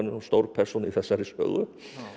stór persóna í þessari sögu